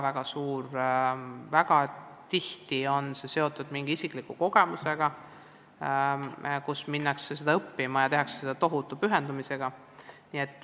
Väga tihti on see seotud mingi isikliku põhjusega, et minnakse seda õppima, ja siis tehakse seda tohutu pühendumisega.